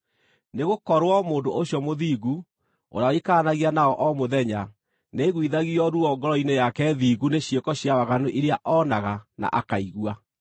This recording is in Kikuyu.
(nĩgũkorwo mũndũ ũcio mũthingu, ũrĩa waikaranagia nao o mũthenya, nĩaiguithagio ruo ngoro-inĩ yake thingu nĩ ciĩko cia waganu iria oonaga na akaigua);